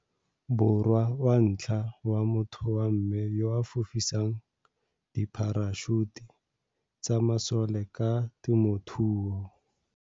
Borwa wa ntlha wa motho wa mme yo a fofisang dipharašuta tsa masoleka temothuo.